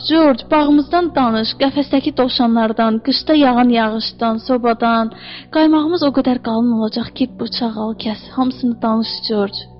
Corc, bağımızdan danış, qəfəsdəki dovşanlardan, qışda yağan yağışdan, sobadan, qaymağımız o qədər qalın olacaq ki, bıçaq kəs, hamısını danış Corc.